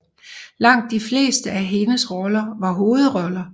Langt de fleste af hendes roller var hovedroller